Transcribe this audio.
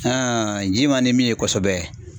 ji man di min ye kosɛbɛ.